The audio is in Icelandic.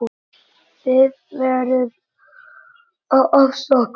Þið verðið að afsaka.